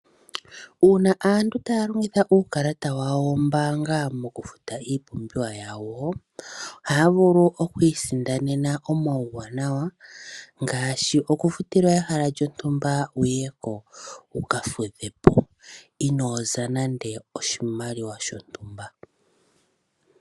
Uuna aantu taya longitha uukalata wawo wombaanga mokufuta iipumbiwa yawo, ohaya vulu oku isindanena omauwanawa ngaashi okufutilwa ehala lyontumba wuye ko, wu ka fudhe po, inooza nande oshimaliwa shontumba.